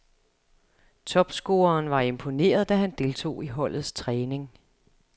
Topscoreren var imponeret da han deltog i holdets træning.